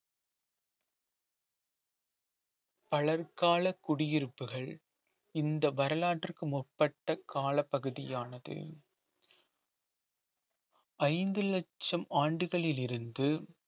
பலர் கால குடியிருப்புகள் இந்த வரலாற்றுக்கு முற்பட்ட காலப்பகுதியானது ஐந்து லட்சம் ஆண்டுகளில் இருந்து